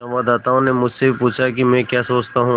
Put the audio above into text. संवाददाता ने मुझसे भी पूछा कि मैं क्या सोचता हूँ